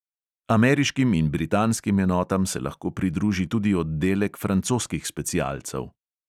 Ameriškim in britanskim enotam se lahko pridruži tudi oddelek francoskih specialcev.